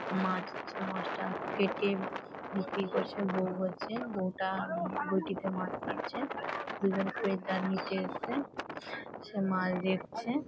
মাছ আছে মাছটা কেটে বিক্রি করছে। বৌ আছে বৌ টা বটিতে মাছ কাটছে। দুজন খরিদ্দার নিতে এসেছে সে মাছ দেখছে।